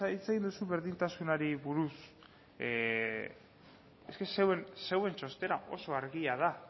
hitz egin duzu berdintasunari buruz zuen txostena oso argia da